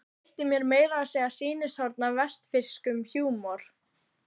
Veitti mér meira að segja sýnishorn af vestfirskum húmor.